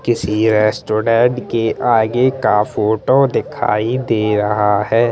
किसी रेस्टोरेंट का आगे का फोटो दिखाई दे रहा है।